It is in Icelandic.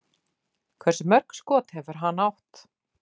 Hversu mörk skot hefur hann átt?